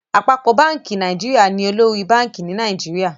Àpapọ bánkì Nàìjíríà ní olórí bank ní Nàìjíríà.